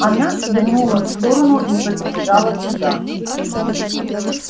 она свернула в сторону и подбежала туда